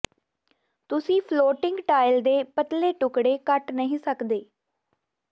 ਤੁਸੀਂ floating tile ਦੇ ਪਤਲੇ ਟੁਕੜੇ ਕੱਟ ਨਹੀਂ ਸਕਦੇ